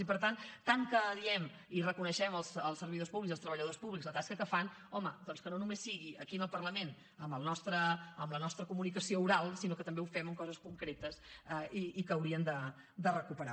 i per tant tant que diem i reconeixem als servidors públics i als treballadors públics la tasca que fan home doncs que no només sigui aquí al parlament amb la nostra comunicació oral sinó que també ho fem amb coses concretes i que hauríem de recuperar